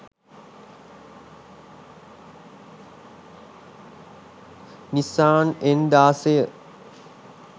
nissan n16